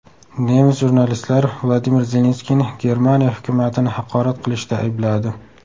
Nemis jurnalistlari Vladimir Zelenskiyni Germaniya hukumatini haqorat qilishda aybladi.